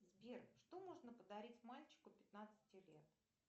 сбер что можно подарить мальчику пятнадцати лет